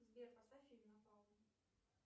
сбер поставь фильм на паузу